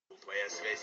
твоя связь